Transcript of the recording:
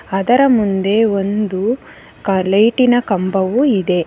ಅದರ ಮುಂದೆ ಒಂದು ಕಾ ಲೈಟಿನ ಕಂಬವು ಇದೆ.